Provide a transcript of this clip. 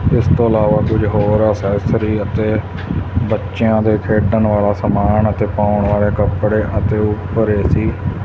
ਇਸ ਤੋਂ ਇਲਾਵਾ ਕੁਝ ਹੋਰ ਅਸੈਸਰੀ ਅਤੇ ਬੱਚਿਆਂ ਦੇ ਖੇਡਣ ਆਲਾ ਸਮਾਨ ਅਤੇ ਪਾਉਣ ਵਾਲੇ ਕੱਪੜੇ ਅਤੇ ਉੱਪਰ ਏ_ਸੀ --